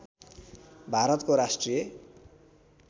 भारतको राष्ट्रिय